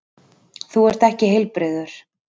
Þú ert ekki heilbrigður!